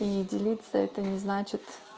и делиться это не значит